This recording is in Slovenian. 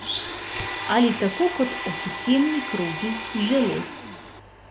Ali tako kot oficielni krogi žele?